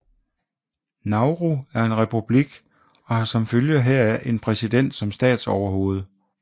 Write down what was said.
Nauru er en republik og har som følge heraf en præsident som statsoverhoved